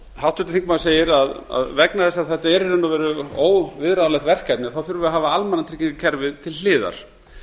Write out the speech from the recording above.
háttvirtur þingmaður segir að vegna þess að þetta er í raun og veru óviðráðanlegt verkefni þurfum við að hafa almannatryggingakerfið til hliðar